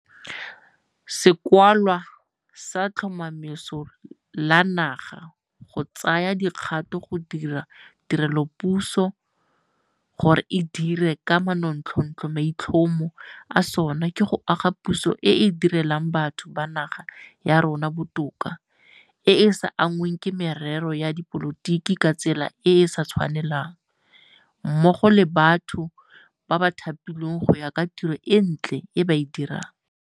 Sekwalwa sa Letlhomeso la Naga go Tsaya Dikgato go dira Tirelopuso gore e Dire ka Manontlhotlho maitlhomo a sona ke go aga puso e e di relang batho ba naga ya rona botoka, e e sa anngweng ke merero ya dipolotiki ka tsela e e sa tshwanelang mmogo le mo batho ba thapiwang go ya ka tiro e ntle e ba e dirang.